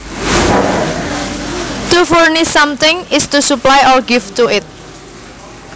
To furnish something is to supply or give to it